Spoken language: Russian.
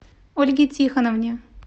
ольге тихоновне